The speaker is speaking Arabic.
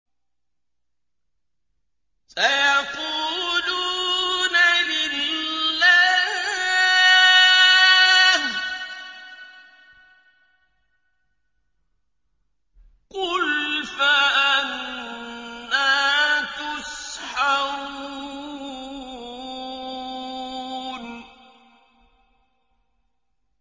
سَيَقُولُونَ لِلَّهِ ۚ قُلْ فَأَنَّىٰ تُسْحَرُونَ